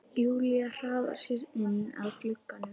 Júlía hraðar sér inn að glugganum.